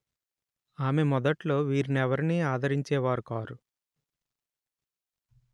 ఆమె మొదట్లో వీరినెవరినీ ఆదరించే వారు కారు